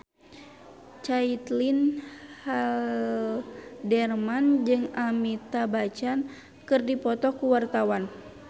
Caitlin Halderman jeung Amitabh Bachchan keur dipoto ku wartawan